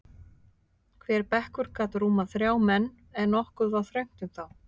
Hver bekkur gat rúmað þrjá menn, en nokkuð var þröngt um þá.